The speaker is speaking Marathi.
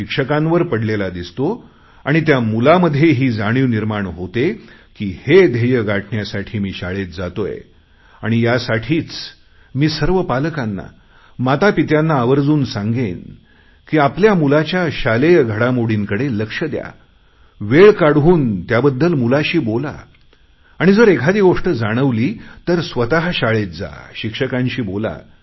शिक्षकांवर पडलेला दिसतो आणि त्या मुलांमध्येही ही जाणीव निर्माण होते की हे ध्येय गाठण्यासाठी मी शाळेत जातोय आणि यासाठी मी सर्व पालकांना मातापित्यांना आवर्जून सांगेन की आपल्या मुलाच्या शालेय घडामोडींकडे लक्ष द्या वेळ काढून त्याबद्दल मुलाशी बोला आणि जर एखादी गोष्ट जाणवली तर स्वत शाळेत जा आणि शिक्षकांशी बोला